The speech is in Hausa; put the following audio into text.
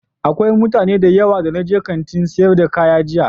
Akwai mutane da yawa da na je Kantin sayar da kaya jiya.